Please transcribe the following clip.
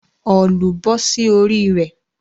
òòlù bọ́ sí orí rẹ̀